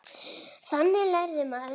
Þannig lærir maður.